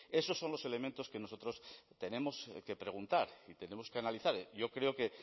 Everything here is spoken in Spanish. esos son los elementos que nosotros tenemos que preguntar y tenemos que analizar yo creo que